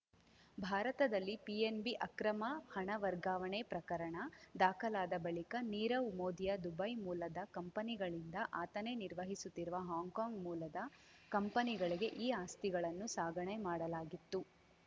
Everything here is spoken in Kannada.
ಭಾರತದಲ್ಲಿ ಪಿಎನ್‌ಬಿ ಅಕ್ರಮ ಹಣವರ್ಗಾವಣೆ ಪ್ರಕರಣ ದಾಖಲಾದ ಬಳಿಕ ನೀರವ್‌ ಮೋದಿಯ ದುಬೈ ಮೂಲದ ಕಂಪನಿಗಳಿಂದ ಆತನೇ ನಿರ್ವಹಿಸುತ್ತಿರುವ ಹಾಂಕಾಂಗ್‌ ಮೂಲದ ಕಂಪನಿಗಳಿಗೆ ಈ ಆಸ್ತಿಗಳನ್ನು ಸಾಗಣೆ ಮಾಡಲಾಗಿತ್ತು